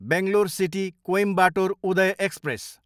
Bangalore city, Coimbatore Uday express